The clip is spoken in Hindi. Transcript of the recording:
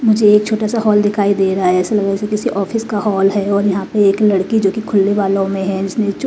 मुझे एक छोटा सा हॉल दिखाई दे रहा है ऐसा लग रहा है जैसे किसी ऑफिस का हॉल है और यहां पे एक लड़की जो कि खुले बालों में है जिसने--